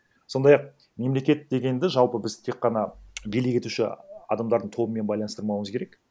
сондай ақ мемлекет дегенді жалпы біз тек қана билік етуші адамдардың тобымен байланыстырмауымыз керек